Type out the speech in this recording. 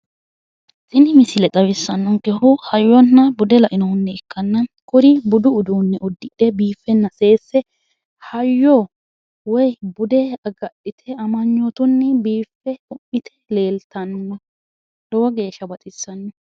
tini misile xawissannonkehu hayyonna bude lainohunni ikkanna kuri budu uduunne uddidhe biiffenna seesse hayyo woyi bude agadhite amanyootunni biiffe tu'mite leeltanni no lowo geeshsha baxissanno.